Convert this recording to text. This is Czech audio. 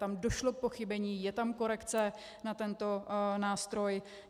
Tam došlo k pochybení, je tam korekce na tento nástroj.